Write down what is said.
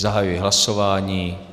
Zahajuji hlasování.